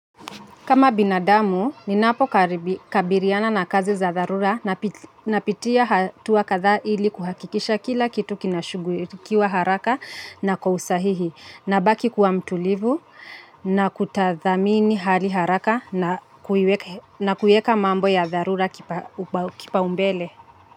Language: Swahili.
Kama binadamu, ninapo kabiriana na kazi za dharura na pitia hatua kadhaa ili kuhakikisha kila kitu kinashughulikiwa haraka na kwa usahihi. Nabaki kuwa mtulivu, na kutathimini hali haraka na kuiweka mambo ya dharura kipaumbele.